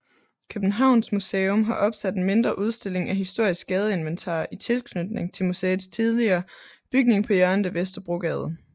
Københavns Museum har opsat en mindre udstilling af historisk gadeinventar i tilknytning til museets tidligere bygning på hjørnet af Vesterbrogade